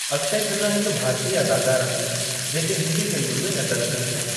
अक्षय खन्ना हिकु भारतीय अदाकार आहिनि जेका हिंदी फिल्मुनि में नज़र अचनि था।